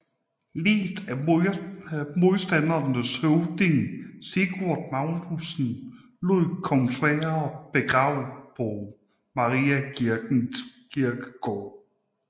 Liget af modstandernes høvding Sigurd Magnusson lod kong Sverre begrave på Mariakirkens kirkegård